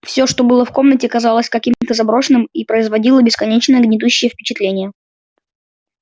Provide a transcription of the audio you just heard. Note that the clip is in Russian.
всё что было в комнате казалось каким-то заброшенным и производило бесконечно гнетущее впечатление